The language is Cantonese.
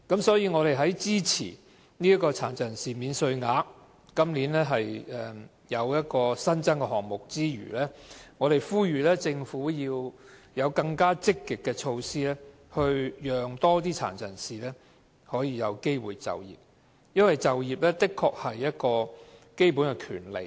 所以，我們在支持今年這項新增的殘疾人士免稅額之餘，亦呼籲政府推行更積極的措施，讓更多殘疾人士有機會就業，因為就業確是一種基本權利。